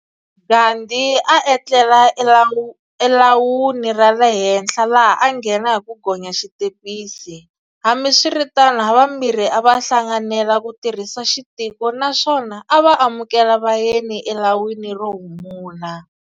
Gandhi a atlela e lawuni rale henhla laha a anghena hi ku gonya xitepisi, hambiswiritano havambirhi a va hlanganela kutirhisa xitiko naswona a ava amukela vayeni a lawini rohumula.